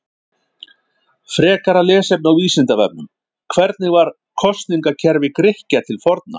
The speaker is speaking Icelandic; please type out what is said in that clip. Frekara lesefni á Vísindavefnum: Hvernig var kosningakerfi Grikkja til forna?